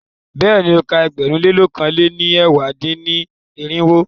Bẹ́ẹ̀ni, o ka ẹgbẹ̀rún lé lọ̀kan lé ní ẹ̀wá dín-ní-irinwó.